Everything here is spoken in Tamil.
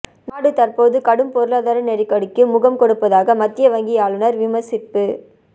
நாடு தற்போது கடும் பொருளாதார நெருக்கடிக்கு முகம் கொடுப்பதாக மத்திய வங்கி ஆளுநர் விமர்சிப்பு